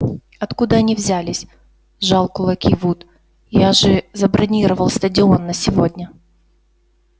откуда они взялись сжал кулаки вуд я же забронировал стадион на сегодня